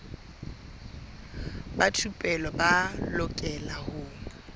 ba thupelo ba lokela ho